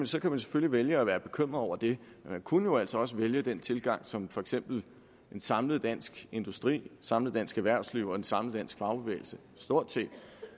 så kan man selvfølgelig vælge at være bekymret over det men man kunne jo altså også vælge den tilgang som for eksempel en samlet dansk industri et samlet dansk erhvervsliv og en samlet dansk fagbevægelse har stort set